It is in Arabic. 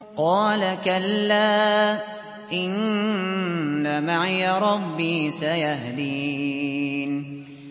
قَالَ كَلَّا ۖ إِنَّ مَعِيَ رَبِّي سَيَهْدِينِ